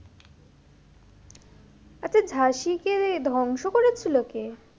আচ্ছা ঝাঁসি কে রে ধ্বংস করেছিল কে?